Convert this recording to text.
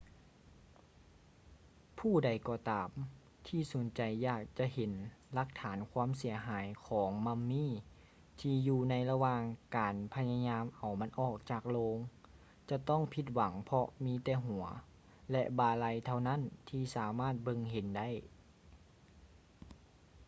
ຜູ້ໃດກໍຕາມທີ່ສົນໃຈຢາກຈະເຫັນຫຼັກຖານຄວາມເສຍຫາຍຂອງມໍາມີ້ທີ່ຢູ່ໃນລະຫວ່າງການພະຍາຍາມເອົາມັນອອກຈາກໂລງຈະຕ້ອງຜິດຫວັງເພາະມີແຕ່ຫົວ ແລະ ບ່າໄຫຼ່ເທົ່ານັ້ນທີ່ສາມາດເບິ່ງເຫັນໄດ້